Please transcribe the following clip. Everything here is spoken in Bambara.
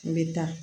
N bɛ taa